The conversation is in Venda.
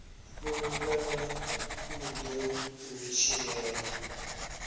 fulufhela u ḓo u tshilela